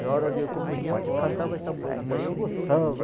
Na hora da comunhão, cantava essa música e eu gostava.